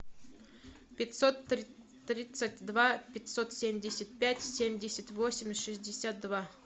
пятьсот тридцать два пятьсот семьдесят пять семьдесят восемь шестьдесят два